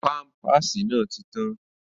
Pámpàsì náà ti tán